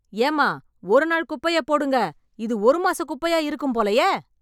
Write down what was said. ஏம்மா ஒரு நாள் குப்பையப் போடுங்க. இது ஒரு மாச குப்பையா இருக்கும் போலயே.